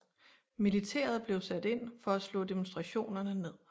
Militæret blev sat ind for at slå demonstrationerne ned